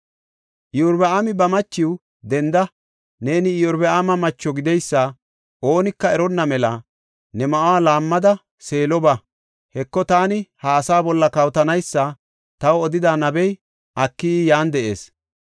Iyorbaami ba machiw, “Denda; neeni Iyorbaama macho gideysa oonika eronna mela ne ma7uwa laammada Seelo ba. Heko, taani ha asaa bolla kawotanaysa taw odida nabey Akiyi yan de7ees.